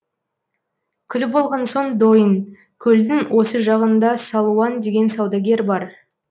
күліп болған соң дойын көлдің осы жағында салуан деген саудагер бар